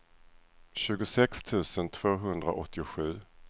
tjugosex tusen tvåhundraåttiosju